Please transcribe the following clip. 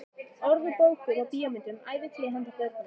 Orð úr bókum og bíómyndum, ævintýrum handa börnum.